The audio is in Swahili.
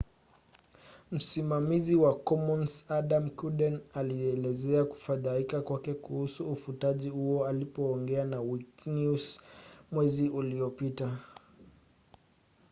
msimamizi wa commons adam cuerden alielezea kufadhaika kwake kuhusu ufutaji huo alipoongea na wikinews mwezi uliopita